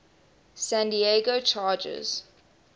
san diego chargers